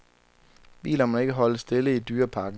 Bilerne må ikke holde stille i dyreparken.